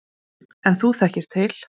Fréttamaður: En þú þekkir til?